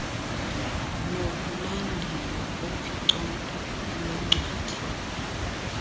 nokulandelwa kophicotho lwencwadi